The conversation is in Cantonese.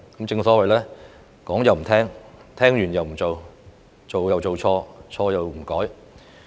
正所謂說又不聽、聽又不做、做又做錯、錯又不改。